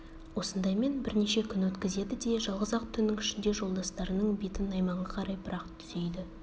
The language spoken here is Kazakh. осындаймен бірнеше күн өткізеді де жалғыз-ақ түннің ішінде жолдастарының бетін найманға қарай бірақ түзейді